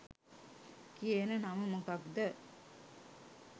කියන නම මොකක්‌ද?